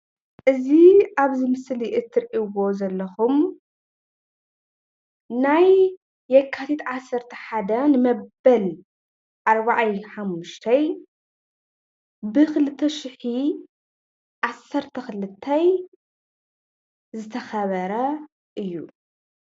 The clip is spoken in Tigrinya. እዚ አብዚ ምስሊ ትርልዎ ዘለኩም ናይ የካቲት ዓሰርተ ሓደ ንመበል ኣርባዓይ ሓሙሽተይ ብክልተሸሕን ዓሰርተ ክልተን ዝተከበረ እዩ፡፡